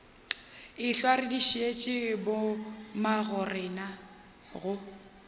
ehlwa re dišitše bommagorena go